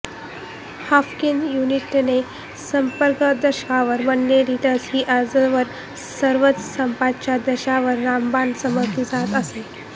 Haffkine इन्स्टिट्यूटने सर्पदंशावर बननवलेली लस ही आजवर सर्वच सापांच्या दंशावर रामबाण समजली जात असे